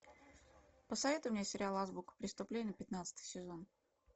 посоветуй мне сериал азбука преступления пятнадцатый сезон